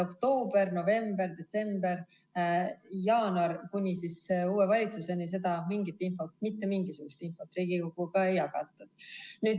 Oktoober, november, detsember, jaanuar kuni uue valitsuseni mingit infot, mitte mingisugust infot Riigikoguga ei jagatud.